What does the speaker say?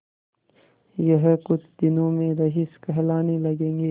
यह कुछ दिनों में रईस कहलाने लगेंगे